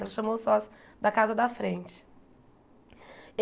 Ela chamou o sócio da casa da frente.